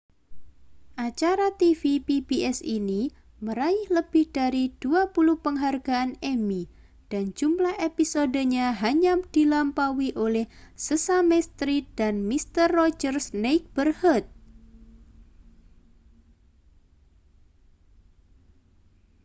acara tv pbs ini meraih lebih dari dua puluh penghargaan emmy dan jumlah episodenya hanya dilampaui oleh sesame street dan mister rogers' neighborhood